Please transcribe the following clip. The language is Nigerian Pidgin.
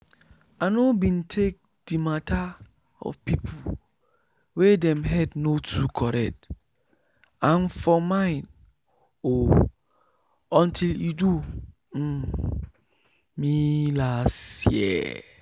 i no been take the mata of people wey dem head no too correct and for mind o until e do um me last year